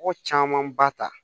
Mɔgɔ caman ba ta